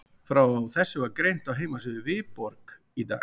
Frá þessu er greint á heimasíðu Viborg í dag.